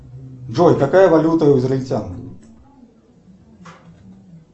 джой какая валюта у израильтян